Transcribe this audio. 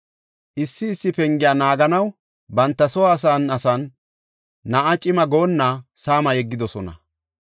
Issi issi pengiya naaganaw banta soo asan asan na7a cima goonna saama yeggidosona.